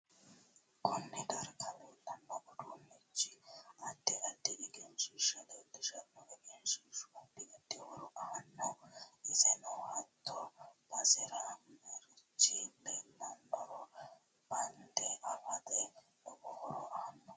Konne darga leelanno uduunichi add addi egenshiisha leelishanno egenshiishu addi addi horo aanno isenno hatte basera marichi leelannoro banda afata lowo horo aanno